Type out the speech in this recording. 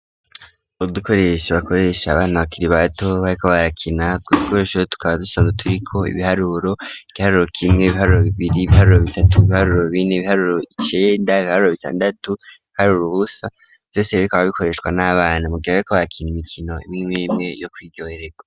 Udukoresha bakoresha abana bakiri bato bariko barakina utwo dukoresho tukaba dusanzwe turiko ibiharuro: igiharuro kimwe, ibiharuro bibiri, ibiharuro bitatu, ibiharuro bine, ibiharuro icenda, ibiharuro bitandatu, ibiharuro ubusa vyose rero bikaba bikoreshwa n'abana mu gihe bariko bakina imikino imwimwe yo kwiryohererwa.